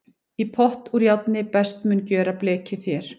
Í pott úr járni best mun gjöra blekið þér.